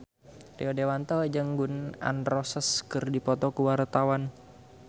Rio Dewanto jeung Gun N Roses keur dipoto ku wartawan